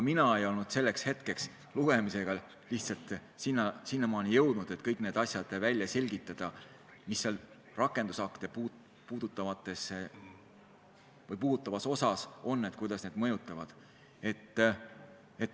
Mina ei olnud selleks hetkeks lugemisega lihtsalt sinnamaani jõudnud, et välja selgitada kõik asjad, mis rakendusakte puudutavas osas on ja kuidas nad mõjuvad.